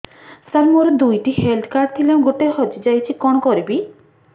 ସାର ମୋର ଦୁଇ ଟି ହେଲ୍ଥ କାର୍ଡ ଥିଲା ଗୋଟେ ହଜିଯାଇଛି କଣ କରିବି